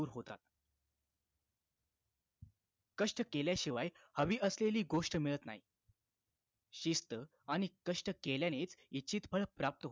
कष्ट केल्याशिवाय हवी असलेली गोष्ट मिळत नाही शिस्त आणि कष्ट केल्यानेच इच्छित फळ प्राप्त